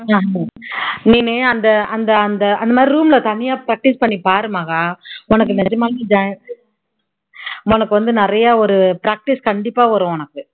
நீனு அந்த அந்த அந்த அந்த மாதிரி room ல தனியா practise பண்ணி பாரு மகா உனக்கு நிஜமாலுமே உனக்கு வந்து நிறைய ஒரு practise கண்டிப்பா வரும் உனக்கு